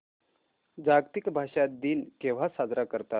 जागतिक भाषा दिन केव्हा साजरा करतात